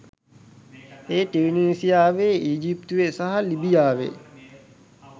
ඒ ටියුනීසියාවේ ඊජිප්තුවේ සහ ලිබියාවේ